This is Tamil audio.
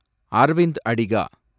அரவிந்த் அடிகா